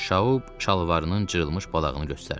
Şaub şalvarının cırılmış balağını göstərdi.